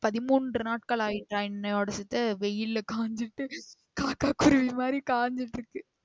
பதிமூன்று நாட்களாகி என்னோடது வெயில்லா காஞ்சி காக்கா குருவி மாதிரி கஞ்சிகிட்டு இருக்கு.